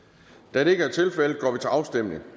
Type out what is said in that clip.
da det ikke